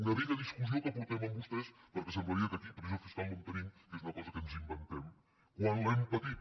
una vella discussió que portem amb vostès perquè semblaria que aquí pressió fiscal no en tenim que és una cosa que ens inventem quan l’hem patit